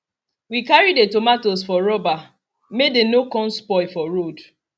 we carry the tomatoes for rubber may dey no con spoil for road